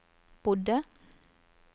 bodde